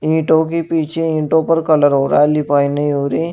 ईंटों के पीछे ईंटों पर कलर हो रहा है लिपाई नहीं हो रही --